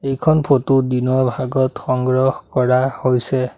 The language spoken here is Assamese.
এইখন ফটো দিনৰ ভাগত সংগ্ৰহ কৰা হৈছে।